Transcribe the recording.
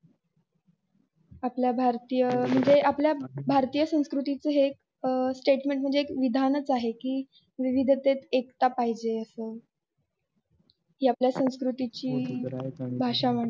आपल्या भारतीय म्हनजे आपल्या भारतीय संस्कृतची एक statement म्हणजे एक विधानच आहेच कि विविधतेत एकता पाहिजे अस कि आपल्या संस्कृतची भाषा.